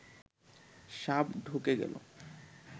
সাপ ঢুকে গেল